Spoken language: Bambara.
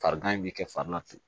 Farigan in bɛ kɛ fari la tugun